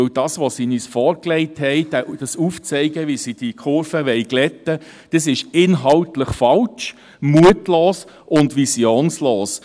Denn das, was sie uns vorgelegt haben, und das Aufzeigen, wie sie die Kurve glätten wollen, ist inhaltlich falsch, mutlos und visionslos.